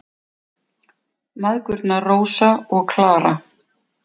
Mæðgurnar, Rósa og Klara.